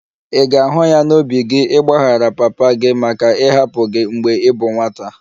Ị ga-ahụ ya n'obi gị ịgbaghara papa gị maka ịhapụ gị mgbe ị bụ nwata?